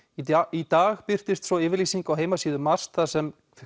í dag birtist svo yfirlýsing á heimasíðu MAST þar sem